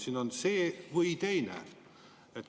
Siin on see või teine.